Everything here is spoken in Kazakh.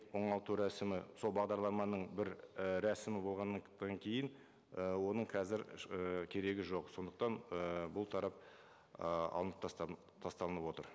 оңалту рәсімі сол бағдарламаның бір і рәсімі болғаннан кейін і оның қазір і керегі жоқ сондықтан і бұл тарап і алынып тасталынып отыр